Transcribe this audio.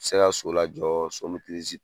se ka so lajɔ so min